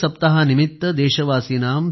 सप्ताह निमित्तं देशवासिनां